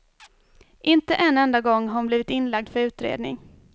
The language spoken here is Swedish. Inte en enda gång har hon blivit inlagd för utredning.